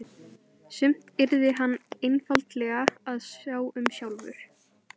Sumt yrði hann einfaldlega að sjá um sjálfur.